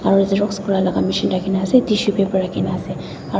aro Xerox laka machine rakhikaena ase tissue paper rakhina ase